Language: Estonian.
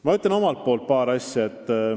Ma ütlen omalt poolt veel paar asja.